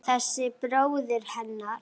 Þessi bróðir hennar!